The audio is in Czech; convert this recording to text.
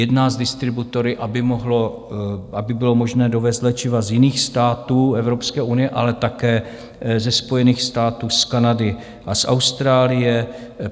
Jedná s distributory, aby bylo možné dovézt léčiva z jiných států Evropské unie, ale také ze Spojených států, z Kanady a z Austrálie.